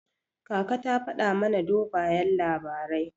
Kaka ta faɗa mana dogayen labarai.